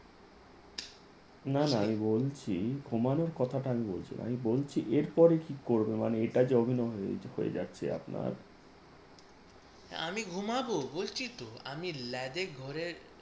না না আমি বলছি ঘুমানোর কথাটা আমি বলছি না আমি বলছি এরপরে কি করবে? মানে এটা যে অভিনয় হয়ে যাচ্ছে আপনার আমি ঘুমাবো বলছি তো আমি লেজে ঘরে